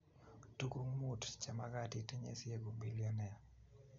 Tukuk mut chemagat itinye sieku bilionea